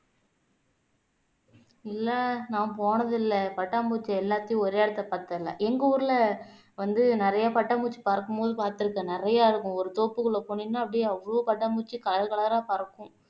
இல்ல நான் போனதில்லை பட்டாம்பூச்சி எல்லாத்தையும் ஒரே இடத்தில பார்த்ததில்லை எங்க ஊர்ல வந்து நிறைய பட்டாம்பூச்சி பறக்கும்போது பார்த்திருக்கேன் நிறைய இருக்கும் ஒரு தோப்புக்குள்ள போனீங்கன்னா அப்படியே அவ்வளவு பட்டாம்பூச்சி color colour ஆ பறக்கும்